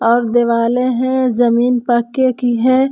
और दिवाले है जमीन पक्के की है।